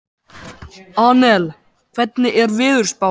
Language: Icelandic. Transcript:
Annel, hvernig er veðurspáin?